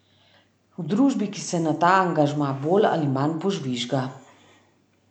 V družbi, ki se na ta angažma bolj ali manj požvižga.